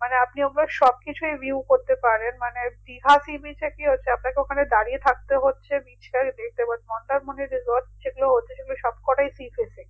মানে আপনি আপনার সবকিছুই view করতে পারেন মানে দীঘা sea beach এ কি হচ্ছে আপনাকে ওখানে দাঁড়িয়ে থাকতে হচ্ছে beach টাকে দেখতে পাচ্ছে মন্দারমণি resort সেগুলো হচ্ছে সবকটাই sea face এ